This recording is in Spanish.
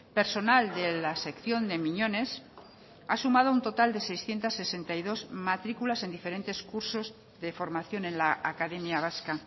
personal de la sección de miñones ha sumado un total de seiscientos sesenta y dos matrículas en diferentes cursos de formación en la academia vasca